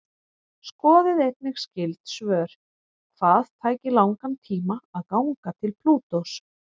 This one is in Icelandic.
Skoðið einnig skyld svör: Hvað tæki langan tíma að ganga til Plútós?